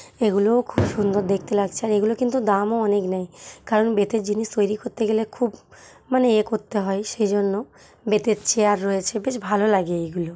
এগুলো খুব সুন্দর দেখতে লাগছে আর এগুলো দাম ও অনেক নয় কারণ বেতের জিনিস তৈরি করতে গেলে খুব মানে এ করতে হয় সেই জন্য বেতের চেয়ার রয়েছে বেশ ভালো লাগে এগুলো।